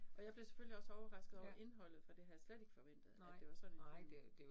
Og jeg blev selvfølgelig også overrasket over indholdet, for det havde jeg slet ikke forventet, at det var sådan en film